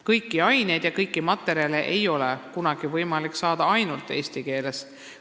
Kõiki aineid õppida ja kõiki materjale saada ei ole kunagi võimalik ainult eesti keeles.